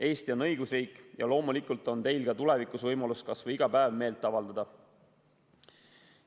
Eesti on õigusriik ja loomulikult on teil ka tulevikus võimalus kas või iga päev meelt avaldada.